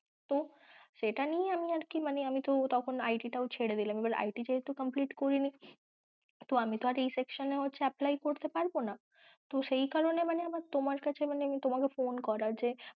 তো সেটা নিয়েই আমি আর কি মানে আমি তো তখন IT টাও ছেরেদিলাম, এবার IT ও যেহেতু complete করিনি তো আমি তো আর এই section এ apply করতে পারব না তো সেই কারণে মানে আমার তোমার কাছে মানে আমার phone করা যে